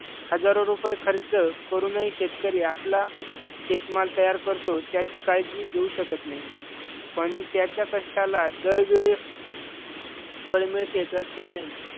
हजारो रुपये खर्च करूनही शेतकरी आपला शेतमाल तयार करतो त्याची काळजी घेऊ शकत नाही. पण त्याच्या कष्टाला दरवेळेस फळ मिळते असे नाही.